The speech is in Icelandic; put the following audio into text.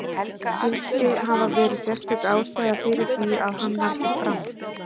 Skyldi hafa verið sérstök ástæða fyrir því að hann valdi Fram?